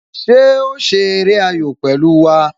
Ṣé o ṣeré ayò pẹ̀lú wá?